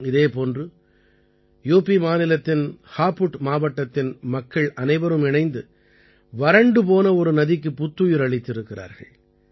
இதே போன்று யுபி மாநிலத்தின் ஹாபுட் மாவட்டத்தின் மக்கள் அனைவரும் இணைந்து வறண்டுபோன ஒரு நதிக்குப் புத்துயிர் அளித்திருக்கிறார்கள்